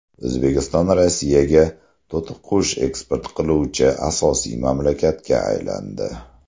O‘zbekiston Rossiyaga to‘tiqush eksport qiluvchi asosiy mamlakatga aylandi.